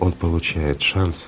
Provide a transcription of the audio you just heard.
он получает шанс